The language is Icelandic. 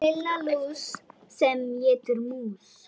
Lilla lús sem étur mús.